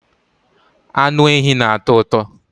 anụ ehi na-atọ ụtọ